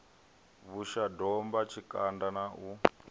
vhusha domba tshikanda na u